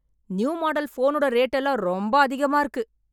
new model phone ஓட rate எல்லாம் ரொம்ப அதிகமா இருக்கு